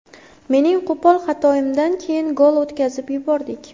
Mening qo‘pol xatoimdan keyin gol o‘tkazib yubordik.